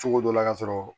Cogo dɔ la ka sɔrɔ